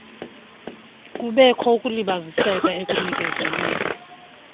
kubekho ukulibaziseka ekunikezelweni